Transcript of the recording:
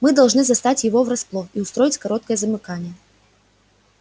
мы должны застать его врасплох и устроить короткое замыкание